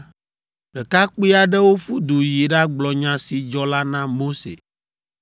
Ɖekakpui aɖewo ƒu du yi ɖagblɔ nya si dzɔ la na Mose.